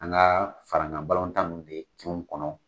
An ka faraɲɔn balontan min bɛ kin kɔnɔ.